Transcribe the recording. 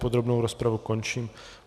Podrobnou rozpravu končím.